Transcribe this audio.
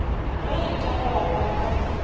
ge e ka ba ka